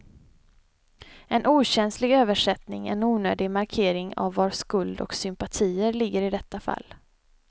En okänslig översättning, en onödig markering av var skuld och sympatier ligger i detta fall.